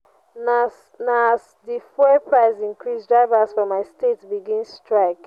na as di fuel price increase drivers for my state begin strike.